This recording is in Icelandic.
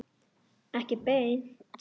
Ekki beint